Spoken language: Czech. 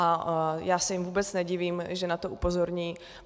A já se jim vůbec nedivím, že na to upozorní.